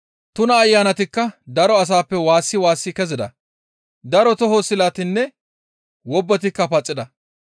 Tuna ayanatikka daro asappe waassi waassi kezida; daro toho silatinne wobbetikka paxida.